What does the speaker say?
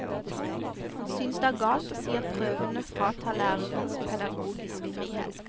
Han synes det er galt å si at prøvene fratar lærernes pedagogisk frihet.